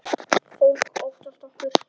Fólk óttast okkur.